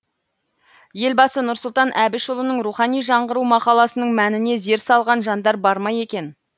елбасы нұрсұлтан әбішұлының рухани жаңғыру мақаласының мәніне зер салған жандар бар ма екен